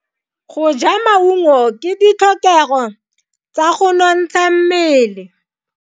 Go ja maungo ke ditlhokego tsa go nontsha mmele.